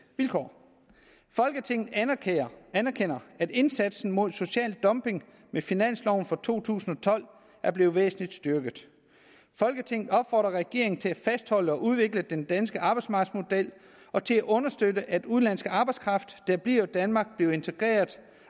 vilkår folketinget anerkender anerkender at indsatsen mod social dumping med finansloven for to tusind og tolv er blevet væsentlig styrket folketinget opfordrer regeringen til at fastholde og udvikle den danske arbejdsmarkedsmodel og til at understøtte at udenlandsk arbejdskraft der bliver i danmark bliver integrerede